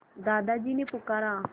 दादाजी ने पुकारा